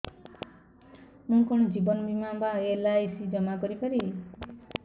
ମୁ କଣ ଜୀବନ ବୀମା ବା ଏଲ୍.ଆଇ.ସି ଜମା କରି ପାରିବି